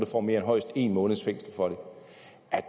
får mere end højst en måneds fængsel for